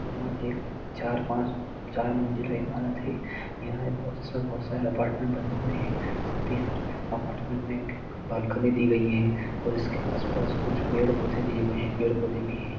यह एक चार पांच चार मंजिले इमारत है यहं एक बहुत सा बहुत अपार्टमेंट बने हुए है साथी हर अपार्टमेंट में एक बालकनी दी गई है और उसके आस पास कुछ पेड़ पौधे दिए गए है पेड़ पौधे भी है।